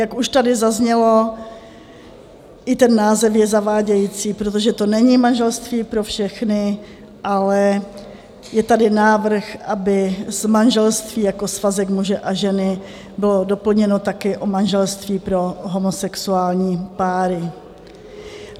Jak už tady zaznělo, i ten název je zavádějící, protože to není manželství pro všechny, ale je tady návrh, aby z manželství jako svazek muže a ženy bylo doplněno také o manželství pro homosexuální páry.